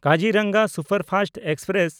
Kaziranga superfast express